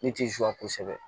Ne ti zuwa kosɛbɛ